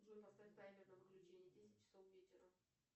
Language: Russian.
джой поставь таймер на выключение десять часов вечера